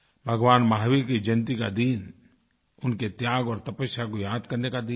भगवान महावीर की जयंती का दिन उनके त्याग और तपस्या को याद करने का दिन है